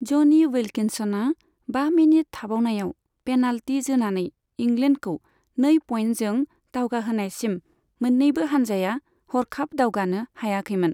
ज'नि विल्किन्सनआ बा मिनिट थाबावनायाव पेनाल्टि जोनानै इंग्लेन्डखौ नै पइन्टजों दावगाहोनायसिम मोननैबो हानजाया हरखाब दावगानो हायाखैमोन।